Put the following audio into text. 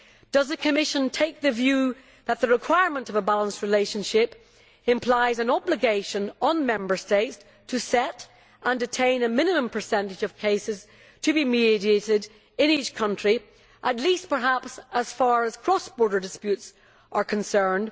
Does the Commission take the view that the requirement for a balanced relationship implies an obligation on Member States to set and attain a minimum percentage of cases to be mediated in each country, at least perhaps as far as cross border disputes are concerned?